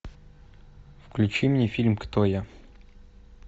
включи мне фильм кто я